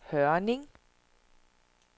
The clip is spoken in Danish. Hørning